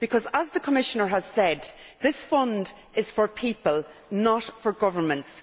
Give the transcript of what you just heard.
As the Commissioner has said, this fund is for people, not for governments.